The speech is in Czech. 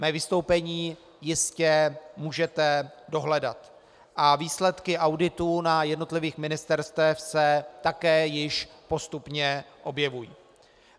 Mé vystoupení jistě můžete dohledat a výsledky auditů na jednotlivých ministerstvech se také již postupně objevují.